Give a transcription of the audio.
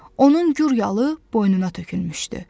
Onun gür yalı boynuna tökülmüşdü.